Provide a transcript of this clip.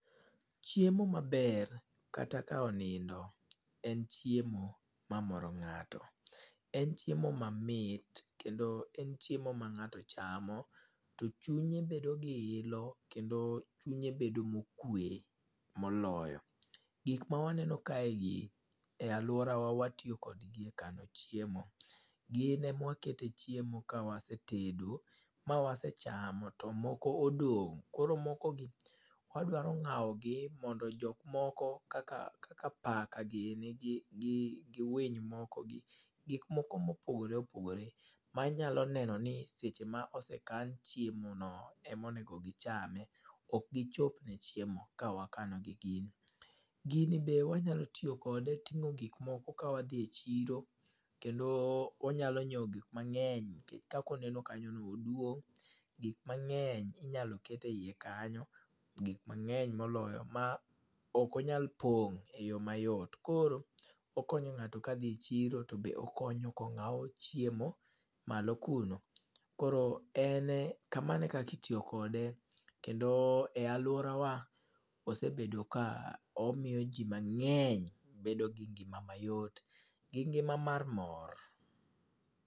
Chiemo maber, kata ka onindo en chiemo ma moro ngáto. En chiemo mamit, kendo en chiemo ma ngáto chamo to chunye bedo gi ilo, kendo chunye bedo mokwe moloyo. Gik ma waneno kae gi, e alworawa watiyo kodgi e kano chiemo. Gin ema wakete chiemo ka wasetedo, ma wasechamo to moko odong'. Koro mokogi wadwaro ngáo gi mondo jok moko kaka kaka paka giri gi gi gi winy moko, gi gik moko ma opogore opogore, manyalo neno ni seche ma osekan chiemo no ema onego gichame. Ok gichop ne chiemo ka wakano gi gini. Gini be wanyalo tiyo kode tingó gik moko ka wadhi e chiro. Kendo wanyalo nyiewo gik mangény, nikech kaka oneno kanyo no oduong', gik mangény inyalo ket e iye kanyo, gik mangény moloyo. Ma ok onyal pong e yo mayot. Koro okonyo ngáto ka dhi e chiro, to be okonyo ka ongáw chiemo malo kuno. Koro ene kamano e kaka itiyo kode. Kendo e alworawa osebedo ka omiyo ji mangény bedo gi ngima mayot gi ngima mar mor.